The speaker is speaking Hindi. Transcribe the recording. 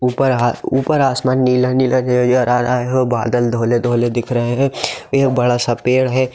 ऊपर आ- ऊपर आसमान नीला नीला नज़र आ रहा है बादल धोले धोले दिख रहा है एक बड़ा सा पेड़ है।